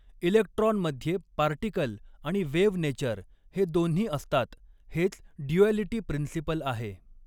Electron मध्ये particle आणि wave nature हे दोन्ही असतात हेच ड्युॲलिटी प्रिन्सिपल आहे.